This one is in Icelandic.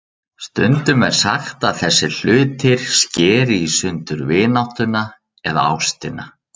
Stundum er sagt að þessir hlutir skeri í sundur vináttuna eða ástina.